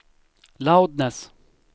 loudness